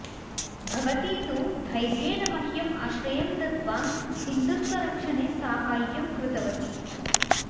भवती तु धैर्येण मह्यम् आश्रयं दत्त्वा हिन्दुत्वरक्षणे साहाय्यं कृतवती